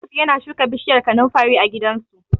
Yusuf yana shuka bishiyar kanunfari a gidansu.